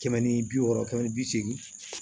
Kɛmɛ ni bi wɔɔrɔ kɛmɛ ni bi seegin